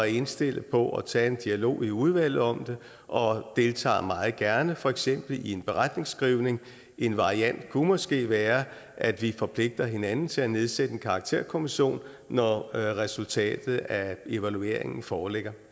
indstillet på at tage en dialog i udvalget om det og deltager meget gerne for eksempel i en beretning en variant kunne måske være at vi forpligter hinanden til at nedsætte en karakterkommission når resultatet af evalueringen foreligger